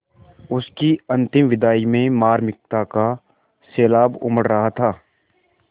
उसकी अंतिम विदाई में मार्मिकता का सैलाब उमड़ रहा था